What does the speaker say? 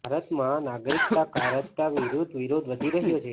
ભારતમાં નાગરિકતા કાયદા વિરૂદ્ધ વિરોધ વધી રહ્યો છે